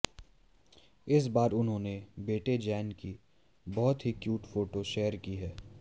इस बार उन्होंने बेटे ज़ैन की बहुत ही क्यूट फोटो शेयर की है